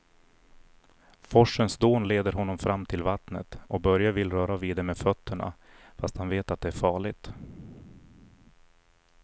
Forsens dån leder honom fram till vattnet och Börje vill röra vid det med fötterna, fast han vet att det är farligt.